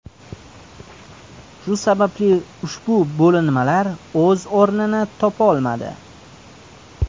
Shu sababli ushbu bo‘linmalar o‘z o‘rnini topolmadi.